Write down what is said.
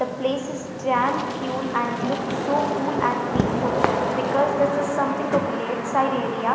the place is damn cule and looks so cool and peaceful because this is something a village side area.